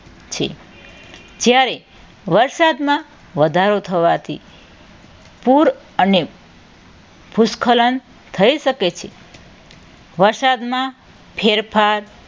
છે. જ્યારે વરસાદમાં વધારો થવાથી પુર અને ભૂસ્ખલન થઈ શકે છે. વરસાદમાં ફેરફાર